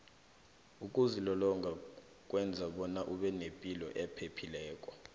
ukuzilolonga kwenza bona ubenepilo ephephileko